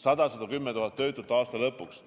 110 000 töötut aasta lõpuks.